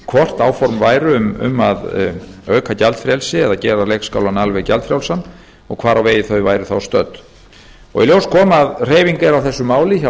hvort áform væru um að auka gjaldfrelsi eða að gefa leikskólann alveg gjaldfrjálsan og hvar á vegi þau væru þá stödd í ljós kom að hreyfing er á þessu máli hjá